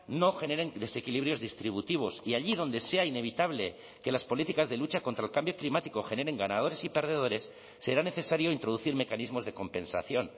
no generen desequilibrios distributivos y allí donde sea inevitable que las políticas de lucha contra el cambio climático generen ganadores y perdedores será necesario introducir mecanismos de compensación